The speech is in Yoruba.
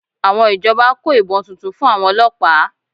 Àwọn ìjọba kó ìbọn tuntun fún àwọn ọlọ́pàá